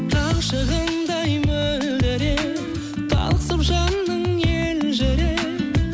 таң шығындай мөлдіреп тасып жаның елжіреп